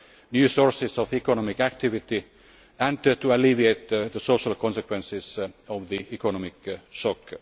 of new sources of economic activity and to alleviate the social consequences of the economic